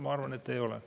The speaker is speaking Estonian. Ma arvan, et ei ole.